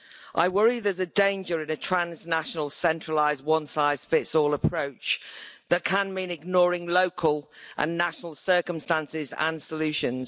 I worry there's a danger in a transnational centralised one size fits all approach that can mean ignoring local and national circumstances and solutions.